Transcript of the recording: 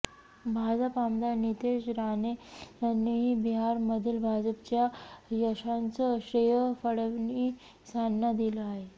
भाजप आमदार नितेश राणे यांनीही बिहारमधील भाजपच्या यशाचं श्रेय फडणवीसांना दिलं आहे